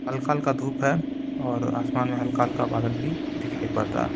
हल्का-हल्का धूप है और आसमान में हल्का हल्का बादल भी दिखाई पड़ रहा है।